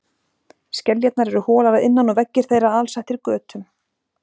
Skeljarnar eru holar að innan og veggir þeirra alsettir götum.